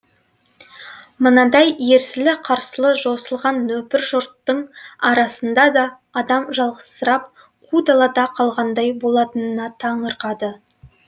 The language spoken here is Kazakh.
мынадай ерсілі қарсылы жосылған нөпір жұрттың арасында да адам жалғызсырап қу далада қалғандай болатынына таңырқады